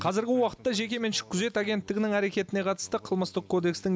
қазіргі уақытта жекеменшік күзет агенттігінің әрекетіне қатысты қылмыстық кодекстің